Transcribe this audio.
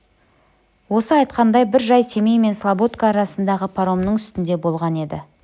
осы айтқандай бір жай семей мен слободка арасындағы паромның үстінде болған еді